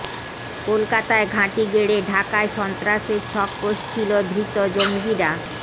কলকাতায় ঘাঁটি গেড়ে ঢাকায় সন্ত্রাসের ছক কষছিল ধৃত জঙ্গিরা